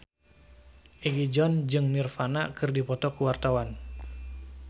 Egi John jeung Nirvana keur dipoto ku wartawan